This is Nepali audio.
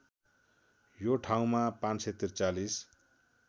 यो ठाउँमा ५४३